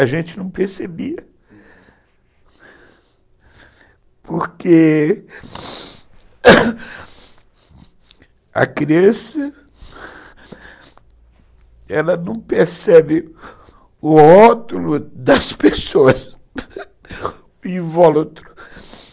a gente não percebia, hum, porque a criança não percebe o rótulo das pessoas, o invólucro.